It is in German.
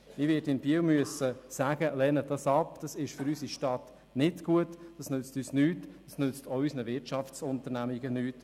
Ich werde in Biel dafür plädieren müssen, sie abzulehnen, weil sie nicht gut ist und weder uns noch unseren Wirtschaftsunternehmungen etwas nützt.